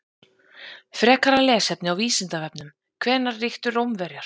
Frekara lesefni á Vísindavefnum: Hvenær ríktu Rómverjar?